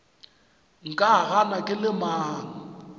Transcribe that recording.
nka gana ke le mang